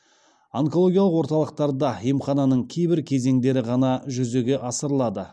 онкологиялық орталықтарда емхананың кейбір кезеңдері ғана жүзеге асырылады